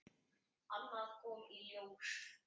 Annað kom í ljós.